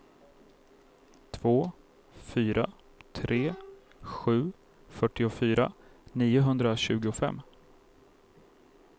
två fyra tre sju fyrtiofyra niohundratjugofem